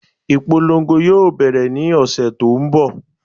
Ìpolongo yóò bẹ̀rẹ̀ ní ọ̀sẹ̀ tó n bọ̀